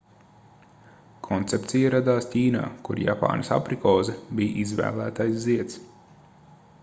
koncepcija radās ķīnā kur japānas aprikoze bija izvēlētais zieds